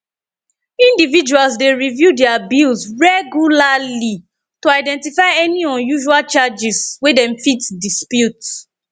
individuals dey review their bills regularly to identify any unusual charges wey dem fit dispute